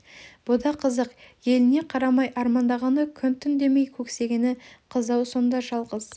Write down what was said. бұ да қызық әліне қарамай армандағаны күн түн демей көксегені қыз ау сонда жалғыз